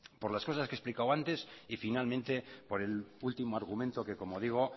por las cosas que he explicado antes y finalmente por el último argumento que como digo